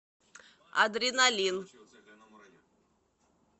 адреналин